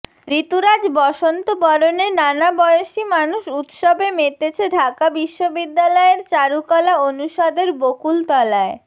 ঋতুরাজ বসন্ত বরণে নানা বয়সী মানুষ উৎসবে মেতেছে ঢাকা বিশ্ববিদ্যালয়ের চারুকলা অনুষদের বকুলতলায়